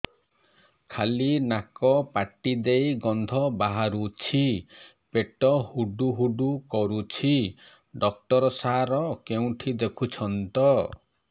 ଖାଲି ନାକ ପାଟି ଦେଇ ଗଂଧ ବାହାରୁଛି ପେଟ ହୁଡ଼ୁ ହୁଡ଼ୁ କରୁଛି ଡକ୍ଟର ସାର କେଉଁଠି ଦେଖୁଛନ୍ତ